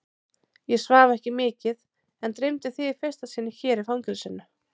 Ég svaf ekki mikið en dreymdi þig í fyrsta sinn hér í fangelsinu.